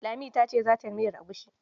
Lami ta ce za ta yi miyar egusi